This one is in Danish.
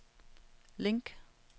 link